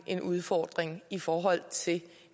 en udfordring i forhold til